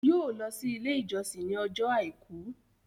yóò lọ si ilé ìjósìn ní Ọjọ́ aìkú.